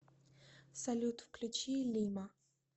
салют включи лимо